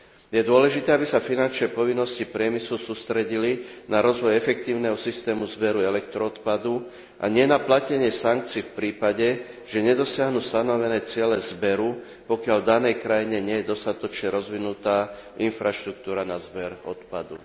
Je dôležité, aby sa finančné povinnosti priemyslu sústredili na rozvoj efektívneho systému zberu elektroodpadu, a nie na platenie sankcií v prípade, že nedosiahnu stanovené ciele zberu, pokiaľ v danej krajine nie je dostatočne rozvinutá infraštruktúra na zber odpadu.